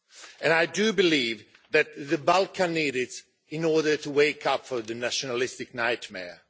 And I do believe that the Balkans need it in order to wake up from the nationalistic nightmare.